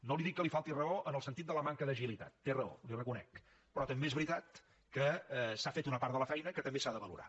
no li dic que li falti raó en el sentit de la manca d’agilitat té raó li ho reconec però també és veritat que s’ha fet una part de la feina que també s’ha de valorar